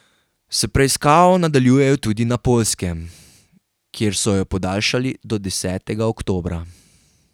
S preiskavo nadaljujejo tudi na Poljskem, kjer so jo podaljšali do desetega oktobra.